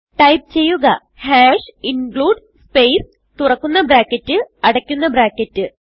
type ചെയ്യുക include space തുറക്കുന്ന bracket അടയ്ക്കുന്ന ബ്രാക്കറ്റ്